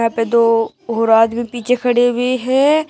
यहां पे दो और आदमी पीछे खड़े हुए हैं।